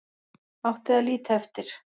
Átti að líta eftir